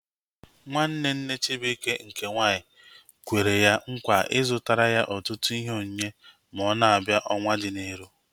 Nwanne nne Chibuike nke nwaanyị kwere ya nkwa ị zụtara ya ọtụtụ ihe onyinye ma ọ na-abịa ọnwaa dị n'iru